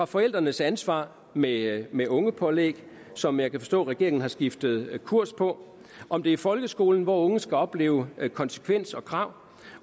forældrenes ansvar med med ungepålæg som jeg kan forstå regeringen har skiftet kurs på om det er folkeskolen hvor unge skal opleve konsekvens og krav